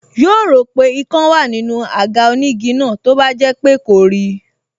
Yóò rò pé ikán wá nínú àga onígi náà tó bá jẹ́ pé kò rí i